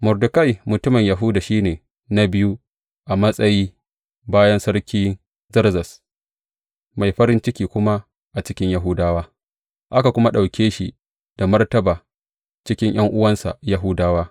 Mordekai mutumin Yahuda, shi ne na biyu a matsayi bayan Sarki Zerzes, mai farin ciki kuma a cikin Yahudawa, aka kuma ɗauke shi da martaba cikin ’yan’uwansa Yahudawa.